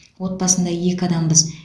отбасында екі адамбыз